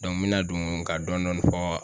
Dɔn n mina don ka dɔndɔni fɔ